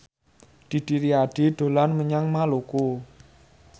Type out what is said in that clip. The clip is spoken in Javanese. Didi Riyadi dolan menyang Maluku